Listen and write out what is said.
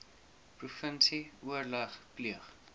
provinsie oorleg pleeg